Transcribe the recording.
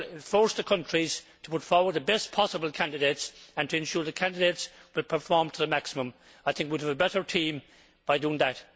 That would force the countries to put forward the best possible candidates and ensure that candidates would perform to the maximum. I think we would have a better team by doing that.